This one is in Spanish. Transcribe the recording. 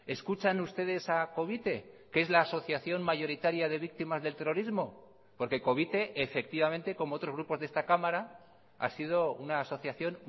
escuchan ustedes a covite que es la asociación mayoritaria de víctimas del terrorismo porque covite efectivamente como otros grupos de esta cámara ha sido una asociación